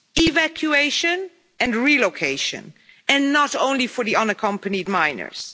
Evacuation and relocation, and not only for the unaccompanied minors.